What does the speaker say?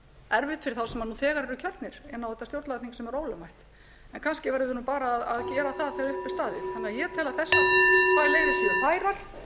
erfitt fyrir þá sem nú þegar eru kjörnir inn á þetta stjórnlagaþing sem er ólögmætt en kannski verðum við bara að gera það þegar